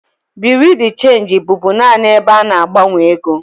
Bureau de change bụbu naanị ebe a na-agbanwe ego.